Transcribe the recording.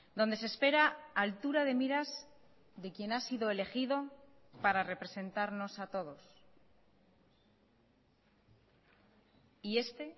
donde se espera altura de miras de quien ha sido elegido para representarnos a todos y este